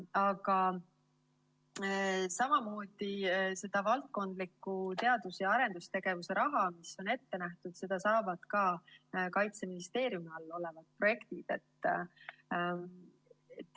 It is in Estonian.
Aga valdkondlikku teadus‑ ja arendustegevuse raha, mis on ette nähtud, saavad ka Kaitseministeeriumi alla kuuluvad projektid.